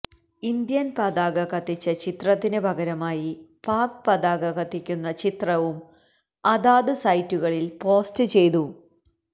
Indian പതാക കത്തിച്ച ചിത്രത്തിന് പകരമായി പാക് പതാക കത്തിക്കുന്ന ചിത്രവും അതാത് സൈറ്റുകളില് പോസ്റ്റ് ചെയ്തു